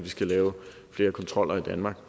vi skal lave flere kontroller i danmark